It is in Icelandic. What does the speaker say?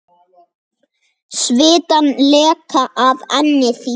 Svitann leka af enni þínu.